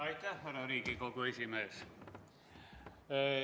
Aitäh, härra Riigikogu esimees!